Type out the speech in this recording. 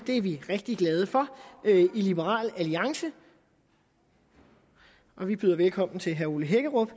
det er vi rigtig glade for i liberal alliance og vi byder velkommen til herre ole hækkerup